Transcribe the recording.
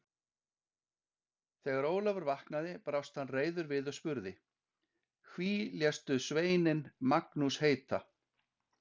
Þegar Ólafur vaknaði brást hann reiður við og spurði: Hví léstu sveininn Magnús heita?